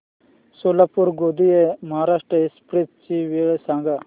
Solapur Gondia Maharashtra express ची वेळ सांगा